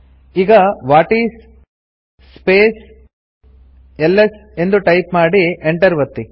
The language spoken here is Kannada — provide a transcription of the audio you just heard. ಈಗ ವಾಟಿಸ್ ಸ್ಪೇಸ್ ಎಲ್ಎಸ್ ಎಂದು ಟೈಪ್ ಮಾಡಿ ಎಂಟರ್ ಒತ್ತಿ